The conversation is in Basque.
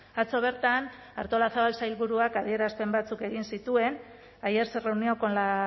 atzo bertan artolazabal sailburuak adierazpen batzuk egin zituen ayer se reunió con la